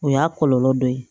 O y'a kɔlɔlɔ dɔ ye